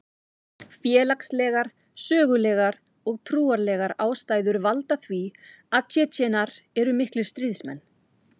Félagslegar, sögulegar og trúarlegar ástæður valda því að Tsjetsjenar eru miklir stríðsmenn.